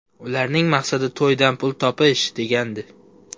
Ularning maqsadi to‘ydan pul topish”, degandi.